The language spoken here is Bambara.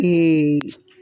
Eeeee